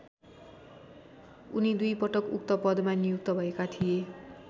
उनी दुई पटक उक्त पदमा नियुक्त भएका थिए।